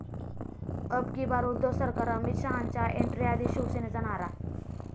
अब की बार उद्धव सरकार', अमित शहांच्या एंट्रीआधी शिवसेनेचा नारा